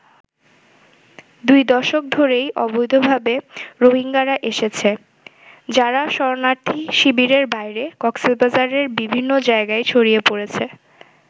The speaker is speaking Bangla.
দুই দশক ধরেই অবৈধভাবে রোহিঙ্গারা এসেছে, যারা শরণার্থী শিবিরের বাইরে কক্সবাজারের বিভিন্ন জায়গায় ছড়িয়ে পড়েছে।